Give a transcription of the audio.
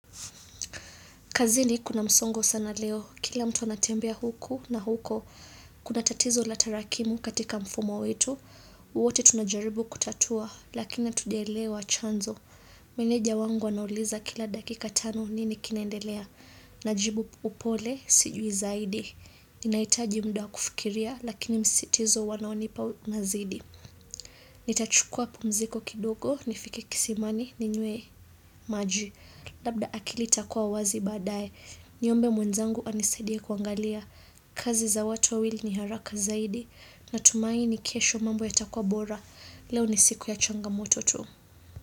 Kazini kuna msongo sana leo, kila mtu anatembea huku na huko, kuna tatizo la tarakimu katika mfumo wetu, wote tunajaribu kutatua, lakina hatujaelewa chanzo. Meneja wangu anauliza kila dakika tano nini kinaendelea, na jibu upole sijui zaidi, ninahitaji muda kufikiria, lakini msisitizo wanaonipa nazidi. Nitachukua pumziko kidogo nifike kisimani ninywe maji Labda akili itakuwa wazi baadaye Niombe mwenzangu anisaidie kuangalia kazi za watu wawili ni haraka zaidi Natumai ni kisho mambo yatakuwa bora Leo ni siku ya changamoto tu.